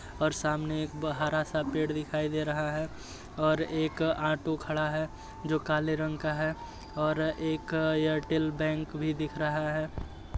और सामने एक ब-हरा सा पेड़ दिखाई दे रहा है और एक ऑटो खड़ा है जो काले रंग का है और एक एयरटेल बैंक भी दिख रहा है।